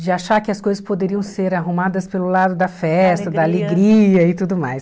de achar que as coisas poderiam ser arrumadas pelo lado da festa, da alegria e tudo mais.